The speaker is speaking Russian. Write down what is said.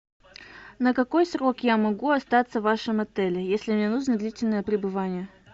на какой срок я могу остаться в вашем отеле если мне нужно длительное пребывание